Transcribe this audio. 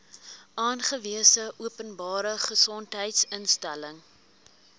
aangewese openbare gesondheidsinstelling